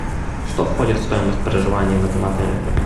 что входит в стоимость проживания в этом отеле